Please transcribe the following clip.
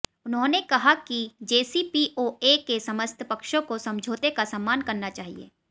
उन्होंने कहा कि जेसीपीओए के समस्त पक्षों को समझौते का सम्मान करना चाहिए